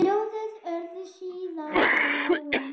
Ljóðin urðu síðar að lögum.